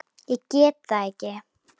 Ég get þetta ekki.